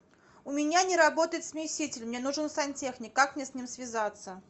у меня не работает смеситель мне нужен сантехник как мне с ним связаться